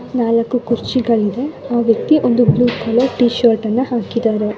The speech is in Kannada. ನಾಲ್ಕು ಕುರ್ಚಿಗಳು ಇದಾವೆ ಆ ವ್ಯಕ್ತಿ ಒಂದು ಬ್ಲೂ ಕಲರ್ ಟೀ ಶರ್ಟ್ ಹಾಕಿದ್ದಾರೆ.